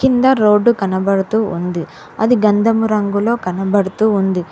కింద రోడ్డు కనబడుతూ ఉంది అది గంధమురంగులో కనబడుతూ ఉంది.